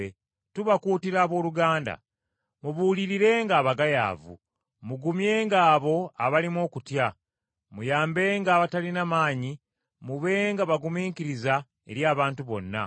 Tubakuutira abooluganda, mubuulirirenga abagayaavu, mugumyenga abo abalimu okutya, muyambenga abatalina maanyi, mubenga bagumiikiriza eri abantu bonna.